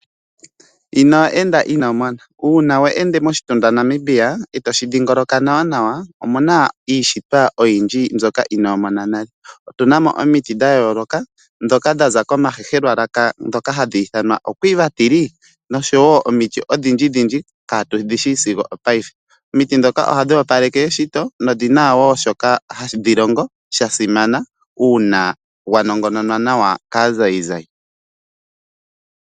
Ino enda ino mona uuna we ende moshitunda Namibia etoshi dhingoloka nawa nawa omuna iishitwa oyindji mbyoka ino mona nale otuna mo omiti odhindji dhoka dha za komahehelwa laka dhoka hadhi ithanwa oQuiva tree otuna mo wo omiti odhindji dhindji katu dhishi sigo opaife omiti dhoka ohadhi opaleke eshito dho odhina wo oshilonga shasimana uuna dha nongononwa nawa kaazaizai.